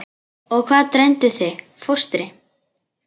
Og hvað dreymdi þig fóstri?